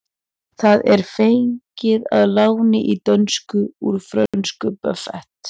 Það er fengið að láni í dönsku úr frönsku buffet.